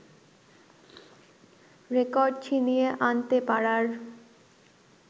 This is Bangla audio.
রেকর্ড ছিনিয়ে আনতে পারার